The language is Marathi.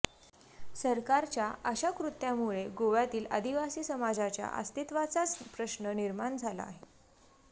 सरकारच्या अशा कृत्यामुळे गोव्यातील आदिवासी समाजाच्या अस्तित्वाचाच प्रश्न निर्माण झाला आहे